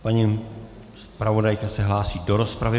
Paní zpravodajka se hlásí do rozpravy.